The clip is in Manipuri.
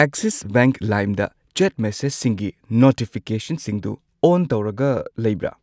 ꯑꯦꯛꯁꯤꯁ ꯕꯦꯡꯛ ꯂꯥꯏꯝꯗ ꯆꯦꯠ ꯃꯦꯁꯦꯖꯁꯤꯡꯒꯤ ꯅꯣꯇꯤꯐꯤꯀꯦꯁꯟꯁꯤꯡꯗꯨ ꯑꯣꯟ ꯇꯧꯔꯒ ꯂꯩꯕ꯭ꯔꯥ?